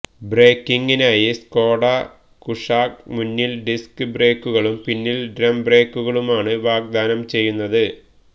ബ്രേക്കിംഗിനായി Skoda Kushaq മുന്നിൽ disc ബ്രേക്കുകളും പിന്നിൽ ഡ്രം ബ്രേക്കുകളുമാണ് വാഗ്ദാനം ചെയ്യുന്നത്